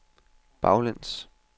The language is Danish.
baglæns